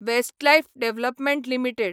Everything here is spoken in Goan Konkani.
Westlife development limited